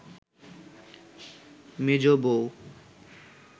মেজ বৌ